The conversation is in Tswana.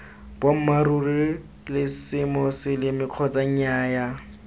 boammaaruri la semoseleme kgotsa nnyaa